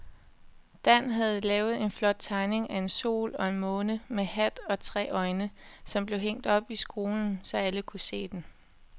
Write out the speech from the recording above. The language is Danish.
Dan havde lavet en flot tegning af en sol og en måne med hat og tre øjne, som blev hængt op i skolen, så alle kunne se den.